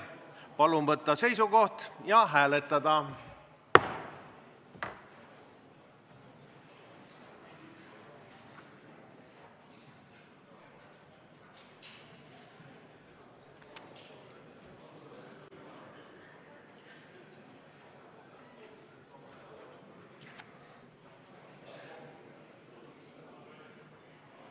Palun võtta seisukoht ja hääletada!